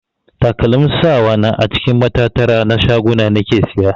Takalmin sawa na a cikin matattara na shaguna nake siya.